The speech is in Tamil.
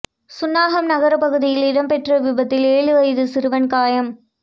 சுன்னாகம் நகரப் பகுதியில் இடம்பெற்ற விபத்தில் ஏழு வயது சிறுவன் காயம்